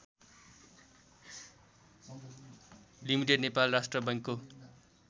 limited Nepal राष्ट्र बैंकको